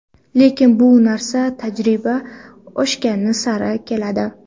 Lekin bu narsa tajriba oshgani sari keladi.